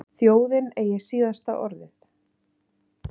Þjóðin eigi síðasta orðið